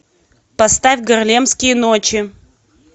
поставь гарлемские ночи